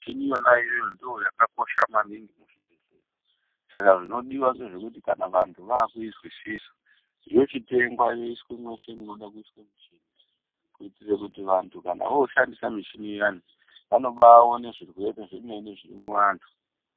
Michini iyona iyoyo ndiyo yakakosha maningi muzvibhedhlera. Saka zvinodiwa ngezvekuti kana vantu vakuizwisisa yochitenga yoiswe mese munoda kuiswa michini. Kuitira kuti vantu voshandisa michini iyani vanobaone zvirwere zvemene zviri muvantu.